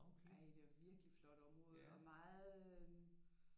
Ej det var et virkelig flot område og meget øh